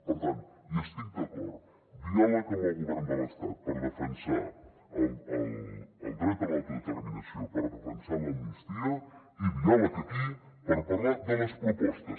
per tant hi estic d’acord diàleg amb el govern de l’estat per defensar el dret a l’auto determinació per defensar l’amnistia i diàleg aquí per parlar de les propostes